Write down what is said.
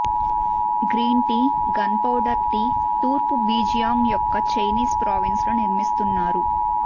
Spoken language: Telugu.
గ్రీన్ టీ గన్పౌడర్ టీ తూర్పు జెజియాంగ్ యొక్క చైనీస్ ప్రావిన్స్ లో నిర్మిస్తున్నారు